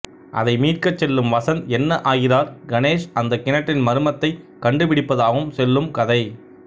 அதை மீட்கச் செல்லும் வசந்த் என்ன ஆகிறார் கணேஷ் அந்த கிணற்றின் மர்மத்தைக் கண்டுபிடிப்பதாகவும் செல்லும் கதை